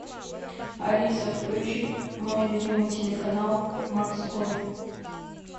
алиса включи мой любимый телеканал морской